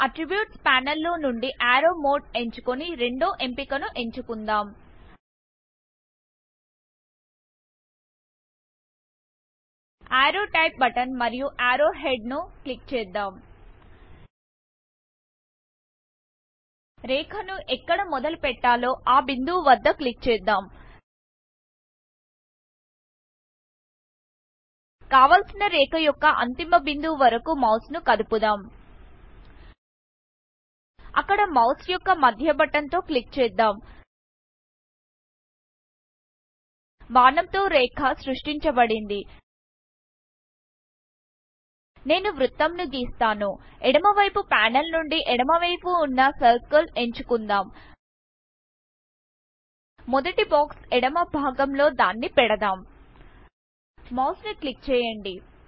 attributes panel లో నుండి arrow Modeఎంచుకొని రెండో ఎంపికను ఎంచుకుందాం అర్రో టైప్ బటన్ మరియు అర్రో హెడ్ ను క్లిక్ చేద్దాం రేఖ ను ఎక్కడ మొదలు పెట్టాలో ఆ బిందివు వద్ద క్లిక్ చేద్దాం కావలసిన రేఖ యొక్క అంతిమ బిందువు వరకు మౌస్ ను కదుపుదామ్ అక్కడ మౌస్ యొక్క మధ్య బటన్తో క్లిక్ చేద్దాం బాణం తో రేఖ సృష్టించబడింది నేను వృత్తం ను గీస్తాను ఎడమ వైపు ప్యానల్ నుండి ఎడమవైపు ఉన్న సర్కిల్ ఎంచుకుందాం మొదటి బాక్స్ ఎడమ భాగం లో దాన్ని పెడదాం మౌస్ ని క్లిక్ చేయండి